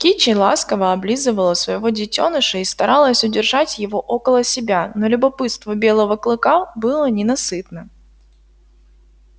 кичи ласково облизывала своего детёныша и старалась удержать его около себя но любопытство белого клыка было ненасытно